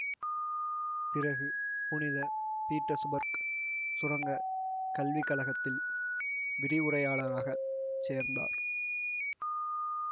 பிறகு புனித பீட்டர்சுபர்க் சுரங்க கல்விக்கழகத்தில் விரிவுரையாளராகச் சேர்ந்தார்